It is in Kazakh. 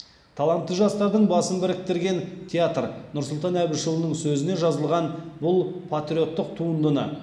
талантты жастардың басын біріктірген театр нұрсұлтан әбішұлының сөзіне жазылған бұл патриоттық туындыны